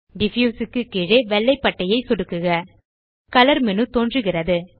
diffuse க்கு கீழே வெள்ளை பட்டையை சொடுக்குக கலர் மேனு தோன்றுகிறது